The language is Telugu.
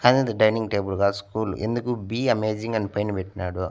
అయినా ఇది డైనింగ్ టేబుల్ కాదు స్కూల్ ఎందుకు బి అమేజింగ్ అని పైన పెట్టినాడు.